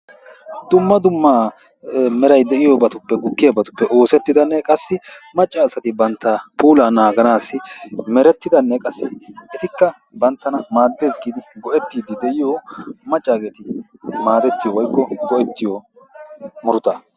Dumma dumma meray de'iyoobatuppe gukkiyaabatuppe oossettidanne qassi macca asatti bantta puulaa naaganassi merettidanne qassi ettikka banttana maaddess giidi go"ettidi maccageeti maaddetiyoo woykko go"ettiyoo muruttaa.